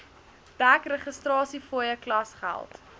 dek registrasiefooie klasgeld